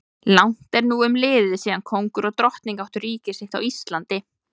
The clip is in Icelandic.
Langt er nú umliðið síðan kóngur og drottning áttu ríki sitt á Íslandi.